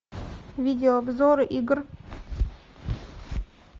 видеообзор игр